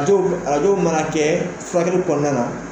Arajo arajo mana kɛ furakɛli kɔnɔna na